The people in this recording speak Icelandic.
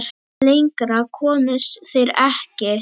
Lengra komust þeir ekki.